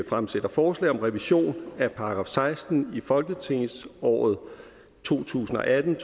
fremsætter forslag om revision af § seksten i folketingsåret to tusind og atten